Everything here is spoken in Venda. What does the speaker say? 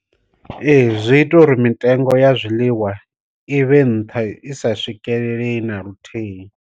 Ee, zwi ita uri mitengo ya zwiḽiwa i vhe nṱha isa swikeleleyi na luthihi.